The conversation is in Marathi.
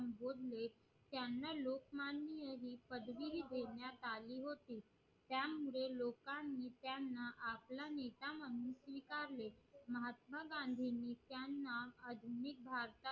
त्यांना लोकमान्य ही पदवी देण्यात आली होती त्यामुळे लोकांनी त्यांना आपला नेता म्हणून स्वीकारले महात्मा गांधींनी त्यांना आधुनिक भाषा